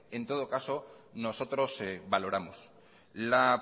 en todos caso nosotros valoramos la